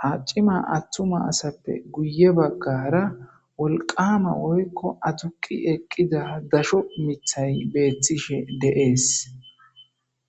ha c'ima atuma asape guye bagara wolqama woyko aduqi eqida gasho mitay betishe de'es.